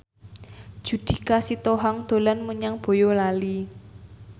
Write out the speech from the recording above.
Judika Sitohang dolan menyang Boyolali